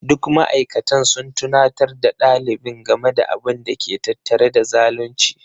Duk ma'aikatan sun tunatar da ɗalibin game da abin da ke tattare da zalunci.